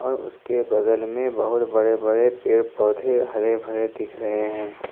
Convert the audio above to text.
और उसके बगल में बहुत बड़े बड़े पेड़ पौधे हरे भरे दिख रहे हैं।